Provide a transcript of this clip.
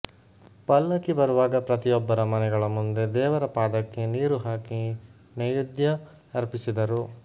ಪಲ್ಲಕಿ ಬರುವಾಗ ಪ್ರತಿಯೊಬ್ಬರ ಮನೆಗಳ ಮುಂದೆ ದೇವರ ಪಾದಕ್ಕೆ ನೀರು ಹಾಕಿ ನೈಯುದ್ಯ ಅರ್ಪಿಸಿದರು